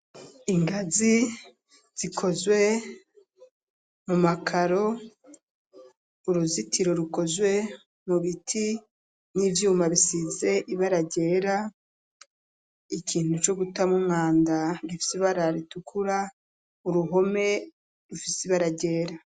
Ingazi zikozwe mu makaro, uruzitiro rukozwe mu biti n'ivyuma bisize ibara ryera, ikintu co gutamwo umwanda gifise ibara ritukura, uruhome rufise ibara ryera.